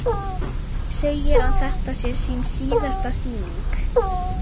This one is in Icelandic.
Segir að þetta sé sín síðasta sýning.